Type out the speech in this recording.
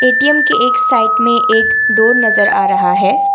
ATM की एक side में एक डोर नजर आ रहा है।